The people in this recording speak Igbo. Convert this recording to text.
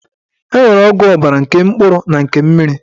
E nwere ọgwụ ọbara nke mkpụrụ na nke mmiri